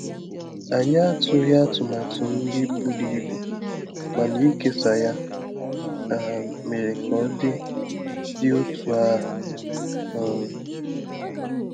Anyị atụghị atụmatụ nri buru ibu, mana ikesa ya um mere ka ọ dị dị otú ahụ. um